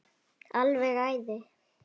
Alveg æði.